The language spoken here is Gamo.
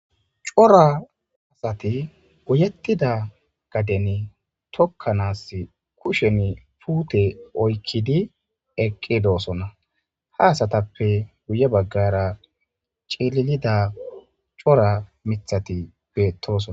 cora asati uyettida gaden tokkanaas kushen puute oykkidi eqqidoosonna ha asatappe guye baggara cililida cora mithati beettoson